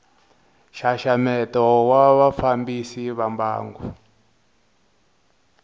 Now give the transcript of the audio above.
nxaxameto wa vafambisi va mbangu